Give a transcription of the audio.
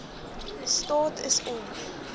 staat is om